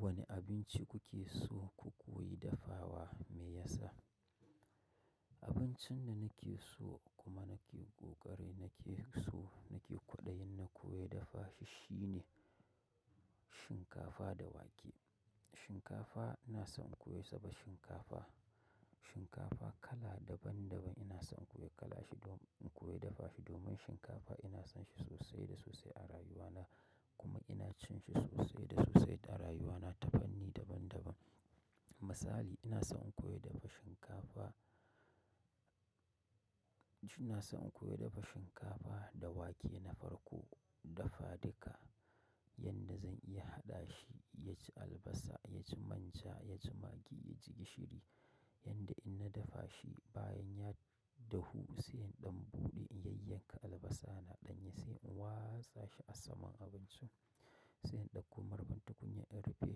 Wane abinci kuke so ku koyi dafawa me yasa? Abincin da nake so kuma nake ƙoƙari nake so nake kwaɗayin na koya dafa shi shine shinkafa da wake. Shinkafa ina son in koyi soba shinkafa, shinkafa kala daban daban ina son in koyi kala shi domin in koyi dafa shi domin shinkafa ina son shi sosai da sosai a rayuwana kuma inacin shi sosai da sosai a rawuna dabanni daban daban. Misali ina son in koyi dafa shinkafa, ina son in koyi dafa shinkafa da wake na farko dafadika yadda zan iya haɗa shi yaji albasa, yaji manja, yaji magi, yaji gishiri yadda in na dafa shi bayan ya dahu sai in ɗan buɗe in yayyanka albasana ɗanye sai in watsa shi a saman abincin sai in ɗauko marfin tukunyan in rufe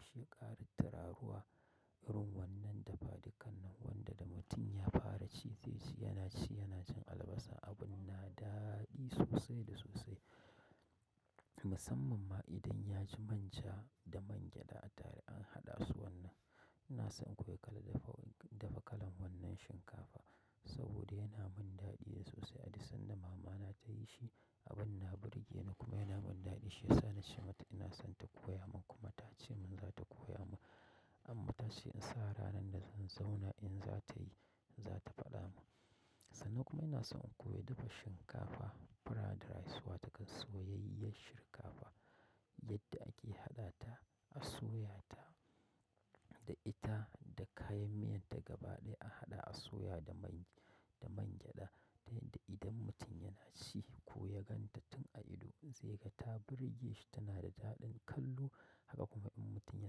shi ƙara tiraruwa irin wannan dafadikan nan wanda da mutum ya fara ci zai ci yana ci yana cin albasa abun na daɗi sosai da sosai. Musamman ma idan yaji manja da mangyaɗa a tare an haɗa su wannan. Ina son in koyi kala dafa, dafa kalan wannan shinkafa saboda yana mun daɗi sosai. Haɗi sanda mamana ta yi shi abun na burge ni kuma yana mun daɗi shiyasa na ce mata ina son ta koya mun kuma ta ce mun za ta koya mun amma ta ce in sa ranar da zan zauna in za ta yi, za ta faɗa mun. Sannan kuma ina son in koyi dafa shinkafa fried rice wato kasoyayyar shinkafa yadda ake haɗa ta a soya ta da ita da kayan miyan ta gaba ɗaya a haɗa a soya da man, da mangyaɗa ta yadda idan mutum yana ci ko ya gan ta tun a ido zai ga ta birge shi tana da daɗin kallo haka kuma in mutum ya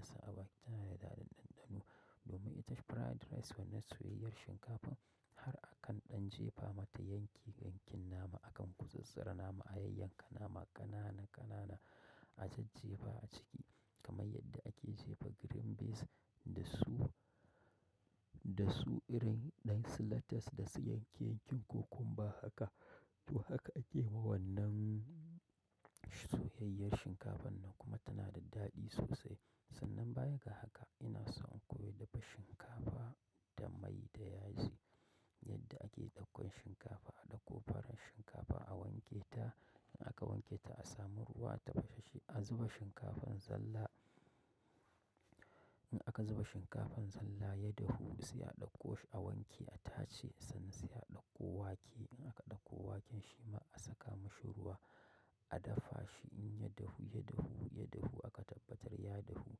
isa a baki tana da daɗin ɗanɗano domin ita fried rice wannan soyayyar shinkafan har a kan ɗan jefa mata yanki yankin nama akan gutsattsara nama a yayyanka nama ƙanana ƙanana a jaj jefa a ciki kamar yadda ake jefa green beans da su, da su irin ɗan latas da su yanke yankin cucumber haka. To haka a ake wa wannan soyayyiyar shinkafan da kuma tanada daɗi sosai. Sannan bayan ga haka ina son in koyi dafa shinkafa da mai da yaji yadda ake ɗaukan shinkafa a ɗauko farar shinkafa a wanke ta in aka wanke ta a samu ruwa a tafashasshe a zuba shinkafan zalla. In aka zuba shinkafan zalla ya dahu sai a ɗauko shi a wanke a tace sannan sai a ɗauko wake in aka ɗauko waken shima a saka mashi ruwa a dafa shi in ya dahu, ya dahu, ya dahu aka tabbatar ya dahu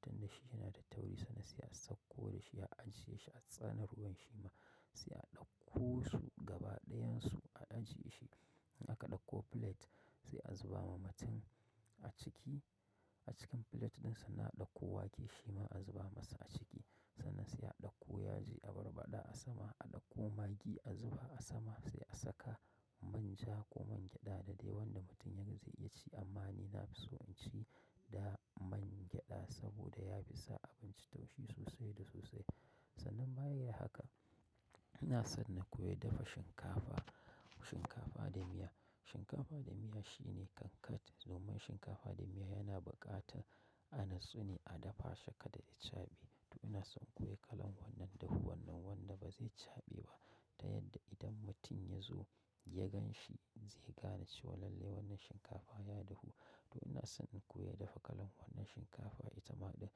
tunda shi yana da tauri sannan sai a sauko da shi a ajiye shi a tsana ruwan shima sai a ɗauko su gaba ɗayansu a ajiye shi. In aka ɗauko plate sai a zuba ma mutum a ciki, a cikin plate din sannan a ɗauko wake shima a zuba masa a ciki sannan sai a ɗauko yaji a barbaɗa a sama a ɗauko magi a zuba a sama sai a saka manja ko mangyaɗa da dai wanda mutumin zai iya ci amma ni na fi so in ci da mangyaɗa saboda yafi sa abinci taushi sosai da sosai. Sannan bayan ga haka ina son na koyi dafa shinkafa, shinkafa da miya. Shinkafa da miya shine kankat domin shinkafa da miya yana buƙata a natsune a dafa shi kada ya chaɓe to ina son inkoyi kalan wannan dahuwan nan wanda ba zai chaɓe ba ta yadda idan mutum ya zo ya gan shi zai gane cewa lallai wannan shinkafa ya dahu. To ina son in koyi dafa kalan wannan shinkafa ita ma ɗin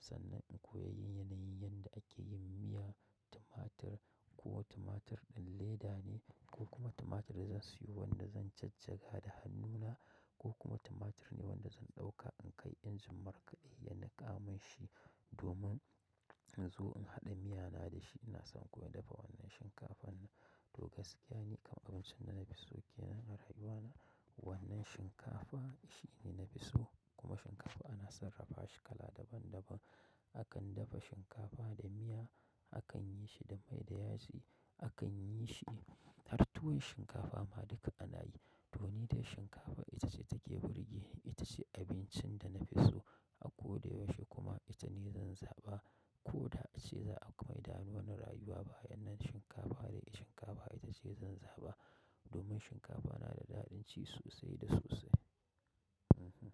sannan in koyi yanayin yadda ake yin miya, tumatir ko tumatir ɗin leda ne ko kuma tumatir da zan siyo wanda zan jajjaga da hannuna ko kuma tumatir ne wanda zan ɗauka inkai injin markade ya nika min shi domin in zo in haɗa miyana da shi ina son inkoyi dafa wannan shinkafan nan. To gaskiya ne kam abincin da nafi so ke nan a rayuwana wannan shinkafa shi ne na fi so kuma shinkafa ana sarrafa shi kala daban daban. Akan dafa shinkafa da miya, akan yi shi da mai da yaji, akan yi shi har tuwon shinkafa ma duka ana yi to ni dai shinkafa ita ce take burge ita ce abincin da na fi so a koda yaushe kuma ita ni zan zaɓa ko da a ce za'a maida mana rayuwa baya rayuwa baya wannan shinkafa dai shinkafa ita ce zan zaɓa domin shinkafa na da daɗin ci sosai da sosai. Mhm.